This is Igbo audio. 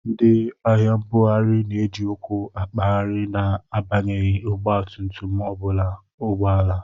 Ndi ahia mbughari na eji ụkwụ akpaghari na abanyeghi ọgba tum-tum ma obu ụgbọala.